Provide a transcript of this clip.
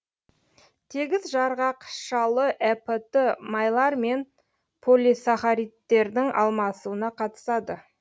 тегіс жарғақшалы эпт майлар мен полисахаридтердің алмасуына қатысады